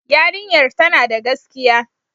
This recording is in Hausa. Yarinyar tana da gaskiya.